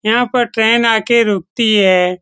यहाँ पे ट्रेन आके रुकती है।